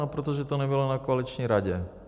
No protože to nebylo na koaliční radě.